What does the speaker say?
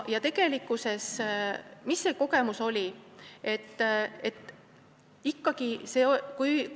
Milline see kogemus oli?